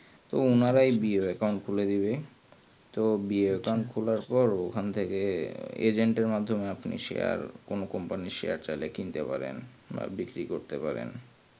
তো ওনারাই BROaccount খুলে দেবে তো BROaccount খোলার পর agent এর মাধ্যমে share মানে কোনো company share চাইলে কিনতে পারবেন বা বিক্রি করতে পারবে